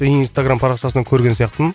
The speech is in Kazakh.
инстаграмм парақшасынан көрген сияқтымын